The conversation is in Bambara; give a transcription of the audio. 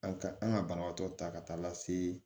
An ka an ka banabaatɔ ta ka taa lase